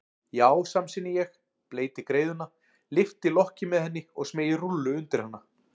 Já, samsinni ég, bleyti greiðuna, lyfti lokki með henni og smeygi rúllu undir hann.